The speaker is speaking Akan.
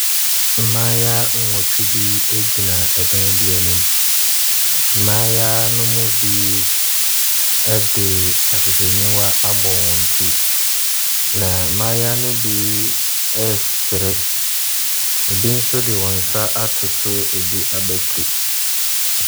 Mmaayewa nnwɔtwe bi gyina dan bi anim. Mmaayewa no mu bi de ahwehwɛnuwa abɔ ti, na mmaayewa no bi resere. Ɛbi nso de wɔn nsa atoto ɛbi abati.